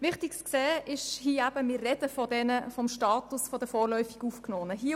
Es ist wichtig zu sehen, dass wir vom Status der vorläufig Aufgenommenen sprechen.